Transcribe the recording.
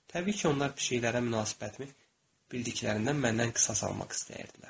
Təbii ki, onlar pişiklərə münasibətimi bildiklərindən məndən qisas almaq istəyirdilər.